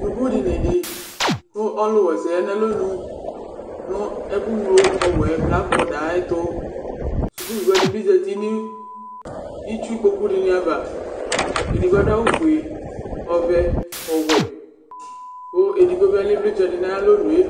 suku dinidï kʊ ɔlu wɛsɛ ya na lɔnũ nu ɛkʊyló ɔwẽ blafɔda ayɛtũ sukuvi wanibi zati n'itsu kpokũ dïniava edigbo adu awʊ fué ɔvɛ ɔwẽ kɔ édigbo bi alɛ ïvlĩtsẽ di nayalõ nue